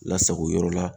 Lasago yɔrɔ la